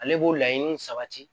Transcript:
Ale b'o laɲini sabati